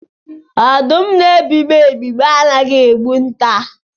Ọdụm na-ebigbọ ebigbọ anaghị egbu nta.